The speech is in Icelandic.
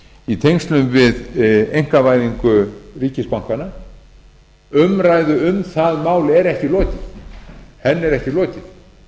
í tengslum við einkavæðingu ríkisbankanna umræðu um það mál er ekki lokið henni er ekki lokið